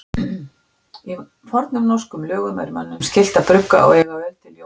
Í fornum norskum lögum er mönnum skylt að brugga og eiga öl til jóla.